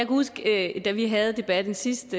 huske at da vi havde debatten sidst